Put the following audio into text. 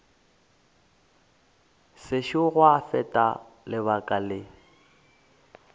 sešo gwa feta lebaka le